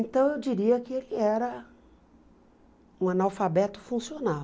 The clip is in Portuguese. Então, eu diria que ele era um analfabeto funcional.